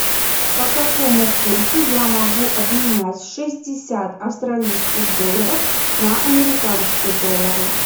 по какому курсу я могу обменять шестьдесят австралийских долларов на американские доллары